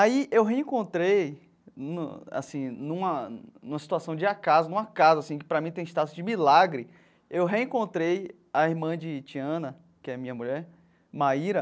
Aí eu reencontrei, num assim numa numa situação de acaso no acaso assim, que para mim tem status de milagre, eu reencontrei a irmã de Tiana, que é a minha mulher, Maíra,